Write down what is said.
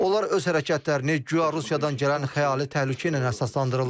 Onlar öz hərəkətlərini guya Rusiyadan gələn xəyali təhlükə ilə əsaslandırırlar.